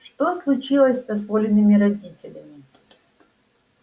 что случилось-то с олиными родителями